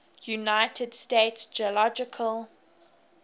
united states geological